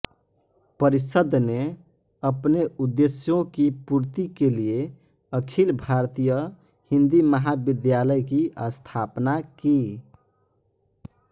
परिषद् ने अपने उद्देश्यों की पूर्ति के लिए अखिल भारतीय हिंदी महाविद्यालय की स्थापना की